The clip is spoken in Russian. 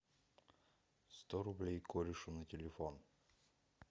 сто рублей корешу на телефон